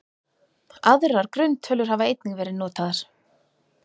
Aðrar grunntölur hafa einnig verið notaðar.